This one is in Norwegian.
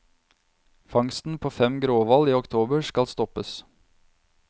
Fangsten på fem gråhval i oktober skal stoppes.